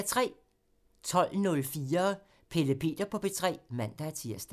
12:04: Pelle Peter på P3 (man-tir)